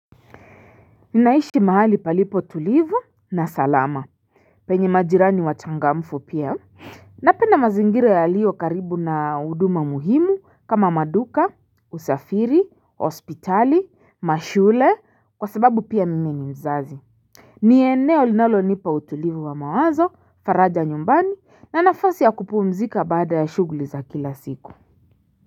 Ninaishi mahali palipo tulivu na salama penye majirani wachangamfu pia Napenda mazingira yaliyo karibu na huduma muhimu kama maduka, usafiri, hospitali, mashule kwa sababu pia mimi ni mzazi ni eneo linalonipa utulivu wa mawazo, faraja nyumbani na nafasi ya kupumzika baada ya shughuli za kila siku.